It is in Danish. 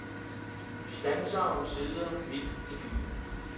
Vi standsede omsider, midt i byen.